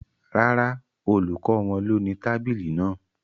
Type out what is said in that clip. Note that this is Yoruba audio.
Rárá, olùkọ́ wọn ló ni tábìlì náà